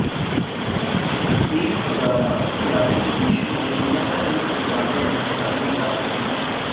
پیر پگارا سیاسی پیشن گوئیاں کرنے کے بارے میں جانے جاتے ہیں